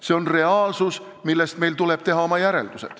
See on reaalsus, millest meil tuleb teha oma järeldused.